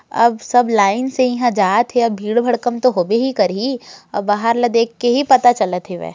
अब सब लाइन से इहा जात हे अब भीड़ -भड़कम तो होबे ही करहि अब बाहर ला देखकर ही पता चलते हेवे।